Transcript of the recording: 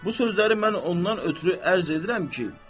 Bu sözləri mən ondan ötrü ərz edirəm ki,